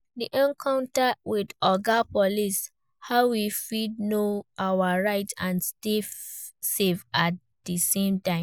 Di encounter with 'Oga police', how we fit know our rights and stay safe at di same time?